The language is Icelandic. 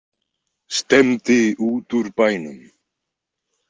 Stefndi út úr bænum.